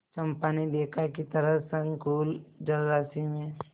चंपा ने देखा कि तरल संकुल जलराशि में